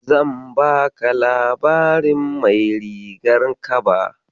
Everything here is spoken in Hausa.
Zan baka labarin mai rigar kaba.